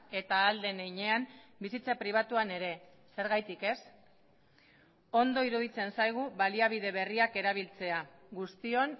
eta ahal den heinean bizitza pribatuan ere zergatik ez ondo iruditzen zaigu baliabide berriak erabiltzea guztion